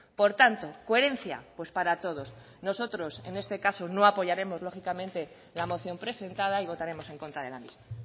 por tanto coherencia pues para todos nosotros en este caso no apoyaremos lógicamente la moción presentada y votaremos en contra de la misma